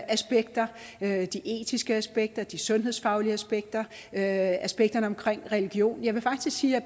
aspekter de etiske aspekter de sundhedsfaglige aspekter aspekterne religion jeg vil faktisk sige at